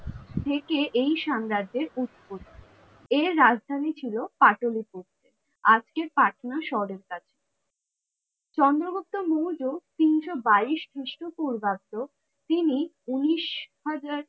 থেকে এই সাম্রাজ্যের উৎপত্তি। এর রাজধানী ছিল পাটলিপুত্র। আজকে পাটনা শহরের কাছে। চন্দ্রগুপ্ত মৌর্য তিনশো বাইশ খ্রিস্টপূর্বাব্দ তিনি ঊনিশ হাজার